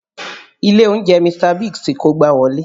Ilé oúnjẹ Mr. Biggs ti kógbá wọlé